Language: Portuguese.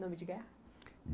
Nome de guerra?